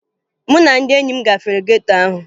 Mụ na ndị enyi m gafere geto ahụ